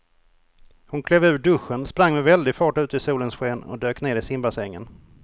Hon klev ur duschen, sprang med väldig fart ut i solens sken och dök ner i simbassängen.